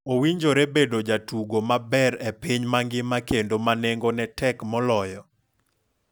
Owinjore bedo jatugo maber e piny mangima kendo manengo tek moloyo?